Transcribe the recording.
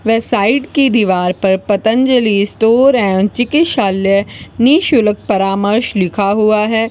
वे side की दीवार पर पतंजलि स्टोर एवं चिकित्सालय निशुल्क परामर्श लिखा हुआ है।